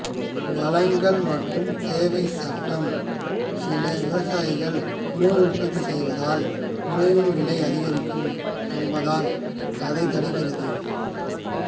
வழங்கள் மற்றும் தேவை சட்டம் சில விவசாயிகள் உணவு உற்பத்தி செய்தால் உணவின் விலை அதிகரிக்கும் என்பதால் அதை தடுக்கின்றது